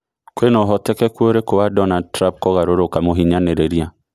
kwĩna ũhotekanu ũrĩku wa Donald trump kũgarũrũka mũhinyanĩrĩrĩa